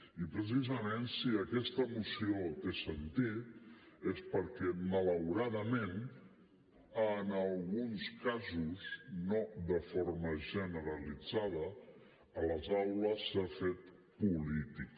i precisament si aquesta moció té sentit és perquè malauradament en alguns casos no de forma generalitzada a les aules s’ha fet política